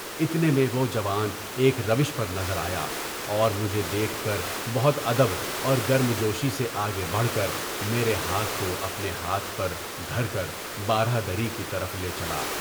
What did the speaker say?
اتنے میں وہ جوان ایک روِش نظر آیا، اور مجھے دیکھ کر بہت ادب اور گرمجوشی سے آگے بڑھ کر میرے ہاتھ کو اپنے ہاتھ پر دھر کر باراہ دری کی طرف لے چلا۔